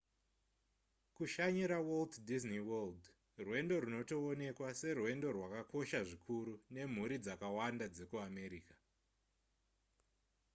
kushanyira walt disney world rwendo runotoonekwa serwendo rwakakosha zvikuru nemhuri dzakawanda dzekuamerica